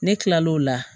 Ne kila l'o la